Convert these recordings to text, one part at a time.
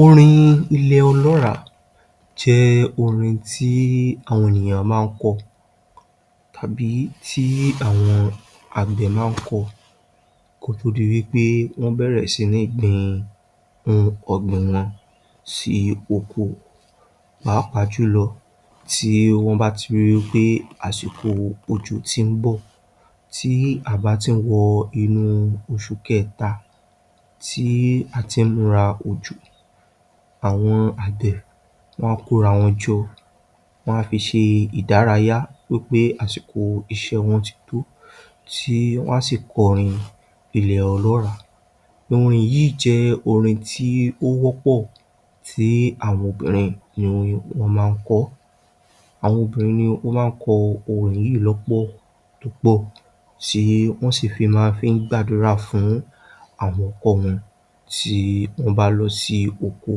Orin ilẹ̀ ọlọ́ràá jẹ́ orin tí àwọn ènìyàn máa ń kọ tàbí tí àwọn àgbẹ̀ máa ń kọ kó di wí pé wọ́n bẹ̀rẹ̀ sí ní gbin ọ̀gbìn wọn sí oko, pàápàá jùlọ tí wọ́n bá ti ń ríi pé àsìkò òjò ti ń bọ̀. Tí a bá ti ń wọ inú oṣù kẹta ti a ti ń múra òjò. Àwọn àgbẹ̀ wọ́n á kóra wọn jọ wọn á fi ṣe ìdárayá wí pé àsíkò iṣẹ́ wọn tó. Tí wọn sì kọrin ilè ọlọ́ràá. Orin yìí jẹ́ orin tí ó wọ́pọ̀ tí àwọn obìnrin máa ń kọ. Àwọn obìnrin ló máa ń kọ orin yìí lọ́pọ̀ tí wọ́n sì fi máa ń gbàdúrà fún àwọn ọkọ wọn tí wọ́n bá lọ sí oko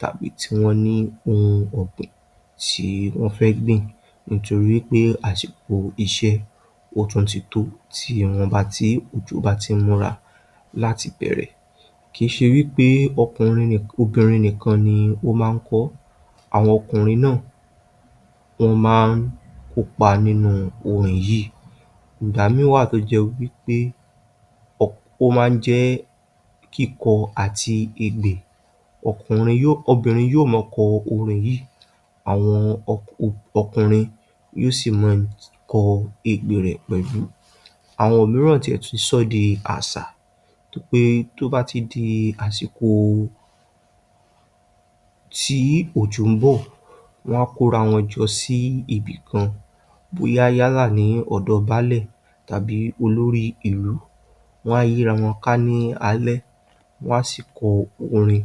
tàbí tí wọn ní ohun ọ̀gbìn tí wọ́n fẹ́ gbìn nítorí pé àsìkò iṣẹ́ ó tún ti tó tí òjò bá ti ń múra láti bẹ̀rẹ̀. Kìí ṣe wí pé ọkùnrin obìnrin nìkan ni wọ́n máa ń kọ ọ́, àwọn ọkùnrin náà ń máa ń kópa nínú orin yìí. Ìgbà mìíràn wà tó jẹ́ wí pé ó máa ń jẹ́ kíkọ àti ègbè, obìnrin yóò máa kọ orin yìí, àwọn ọkùnrin yó sì máa kọ ègbè rẹ̀ pẹ̀lú. Àwọn mìíràn tilẹ̀ ti sọ ọ́ di àṣà pé bí tó bá ti di àsìkò tí òjò ń bọ̀, wọ́n á kó ara wọn jọ sí ibìkan bóyá yálà ní ọ̀dọ̀ báálẹ̀ tàbí olorí ìlú, wọn á yíra wọn ká ní alẹ́ wọ́n á sì kọ orin.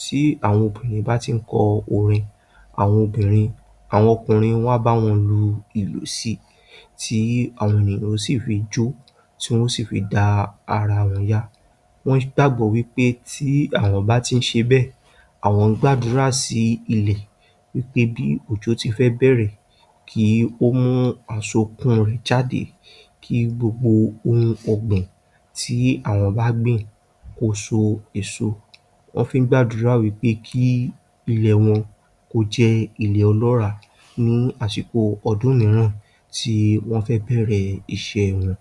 Tí àwọn obìnrin bá ti ń kọ orin, àwọn obìnrin, àwọn ọkùnrin wọn á bá wọn lu ìlù sí i tí àwọn ènìyàn yó sì fi jó tí wọn ó sì fi dá ara wọn yá. Wọn nígbàgbọ́ wí pé tí àwọn bá ti ń ṣe bẹ́ẹ̀, àwọn ń gbàdúrà sí ilẹ̀ wí pé bí òjò ti fẹ́ bẹ̀ẹ̀rẹ̀ kí ó mú àsokún inú rẹ̀ jade kí ohun gbogbo ọ̀gbìn tí àwọn bá gbìn kó so èso. Wọn fi ń gbàdúrà wí pé kí ilẹ̀ wọn kó jẹ́ ilẹ̀ ọlọ́ràá ní àsìkò ọdún mìíràn tí wọ́n fẹ́ bẹ̀ẹ̀rẹ̀ iṣẹ́ wọn.